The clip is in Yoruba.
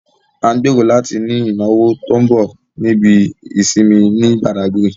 À ń gbèrò láti ní ìnáwó tó ń bọ̀ ní ibi ìsinmi ní Bàdágírì